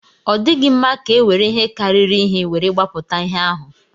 Ọ dịghị mma ka e were ihe karịrị ihe were gbapụta ihe ahụ.